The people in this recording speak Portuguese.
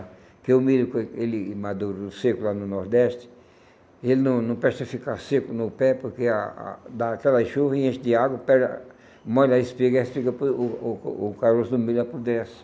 Porque o milho foi, ele maduro, seco lá no Nordeste, ele não não presta a ficar seco no pé, porque a a dá aquela chuva e enche de água, pega, molha a espiga e a espiga, o o o caroço do milho apodrece.